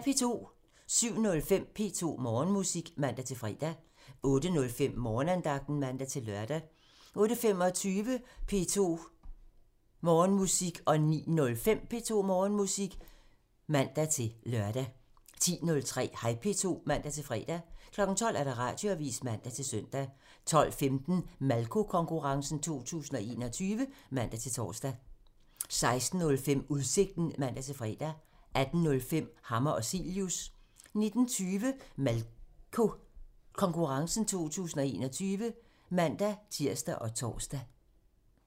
07:05: P2 Morgenmusik (man-fre) 08:05: Morgenandagten (man-lør) 08:25: P2 Morgenmusik (man-lør) 09:05: P2 Morgenmusik (man-fre) 10:03: Hej P2 (man-fre) 12:00: Radioavisen (man-søn) 12:15: Malko Konkurrencen 2021 (man-tor) 16:05: Udsigten (man-fre) 18:05: Hammer og Cilius (man) 19:20: Malko Konkurrencen 2021 (man-tir og tor)